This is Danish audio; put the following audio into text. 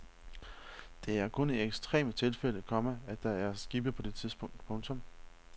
Det er kun i ekstreme tilfælde, komma at der er skibe på det tidspunkt. punktum